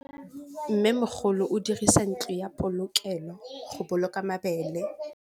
Mmêmogolô o dirisa ntlo ya polokêlô, go boloka mabele.